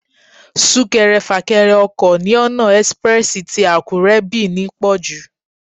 Súnkẹrẹ fàkẹrẹ ọkọ̀ ní ọ̀nà express tì Àkúré /Benin pọ̀jù.